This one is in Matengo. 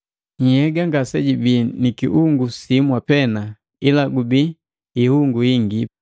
Nhyega ngasejibi ni kiungu simwa pena, ila gubii ihungu hingi.